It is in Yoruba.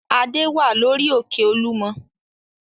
Adé wà lórí òkè Olúmọ.